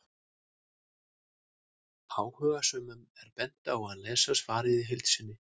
Áhugasömum er bent á að lesa svarið í heild sinni.